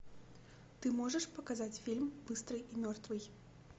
ты можешь показать фильм быстрый и мертвый